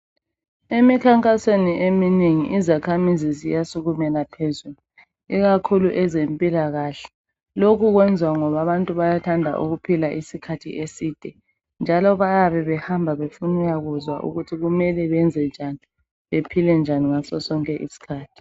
Emikhankasweni eminengi izakhamizi ziyasukumela phezulu, ikakhulu ezempilakahle, lokhu kwenziwa ngoba abantu bayathanda ukuphila isikhathi eside, njalo bayabe behamba befuna ukuyakuzwa ukuthi kumele benze njani, bephile njani ngaso sonke isikhathi.